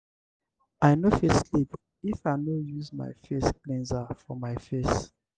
i no fit sleep if i no use my face cleanser for my face.